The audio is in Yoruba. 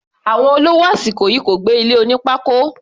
Àwọn olówó àsìkò yìí kò gbé ilé oní pákó.